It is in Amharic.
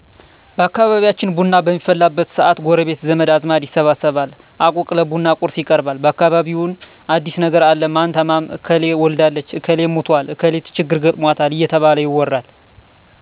በአካባቢያችን ቡና በሚፈላበት ሰአት ጎረቤት ዘመድ አዝማድ ይሰበሰባል አቁቅ ለቡና ቁርስ ይቀርባል በአካባቢውምን አዲስ ነገር አለ ማን ታመመ እከሌ ወልዳለች እክሌ ሙቶል እከሊት ችግር ገጥሞታል እየተባለ ይወራል